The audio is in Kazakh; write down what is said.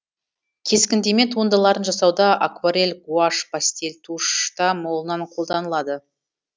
кескіндеме туындыларын жасауда акварель гуашь пастель тушь та молынан қолданылады